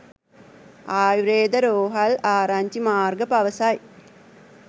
ආයුර්වේද රෝහල් ආරංචි මාර්ග පවසයි